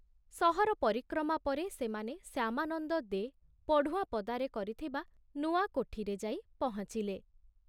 ସହର ପରିକ୍ରମା ପରେ ସେମାନେ ଶ୍ୟାମାନନ୍ଦ ଦେ ପଢୁଆଁପଦାରେ କରିଥିବା ନୂଆ କୋଠିରେ ଯାଇ ପହଞ୍ଚିଲେ।